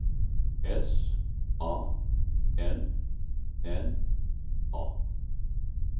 S A N N A